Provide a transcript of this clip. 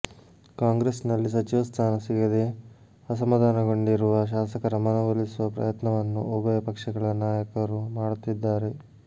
ಕಾಂಗ್ರೆಸ್ನಲ್ಲಿ ಸಚಿವ ಸ್ಥಾನ ಸಿಗದೆ ಅಸಮಾಧಾನಗೊಂಡಿರುವ ಶಾಸಕರ ಮನವೊಲಿಸುವ ಪ್ರಯತ್ನವನ್ನು ಉಭಯ ಪಕ್ಷಗಳ ನಾಯಕರು ಮಾಡುತ್ತಿದ್ದಾರೆ